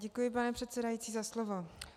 Děkuji, pane předsedající, za slovo.